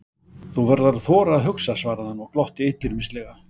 Þú verður að þora að hugsa svaraði hann og glotti illyrmislega.